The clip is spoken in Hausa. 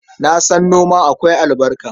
Na san noma akwai albarka.